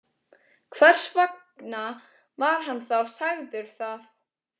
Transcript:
Hvers vegna var hann þá sagður það?